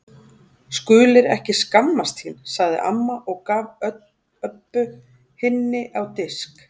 Skulir ekki skammast þín, sagði amma og gaf Öbbu hinni á disk.